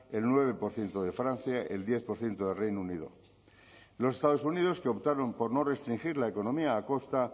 el nueve por ciento de francia el diez por ciento de reino unido los estados unidos que optaron por no restringir la economía a costa